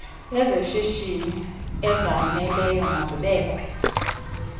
azeshishini ezaneleyo mazibekwe